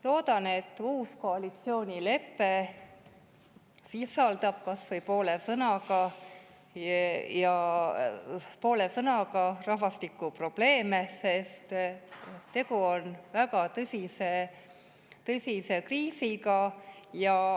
Loodan, et uues koalitsioonileppes on rahvastikuprobleemidest kas või poole sõnaga, sest tegu on väga tõsise kriisiga.